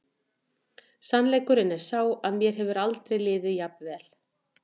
Sannleikurinn er sá að mér hefur aldrei liðið jafn vel.